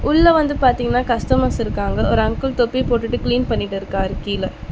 உள்ள வந்து பாத்தீங்னா கஸ்டமர்ஸ் இருக்காங்க ஒரு அங்கிள் தொப்பி போட்டுட்டு கிளீன் பண்ணிட்டுருக்காரு கீழெ.